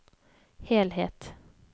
helhet